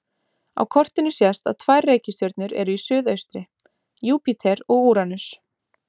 Á kortinu sést að tvær reikistjörnur eru í suðaustri: Júpíter og Úranus.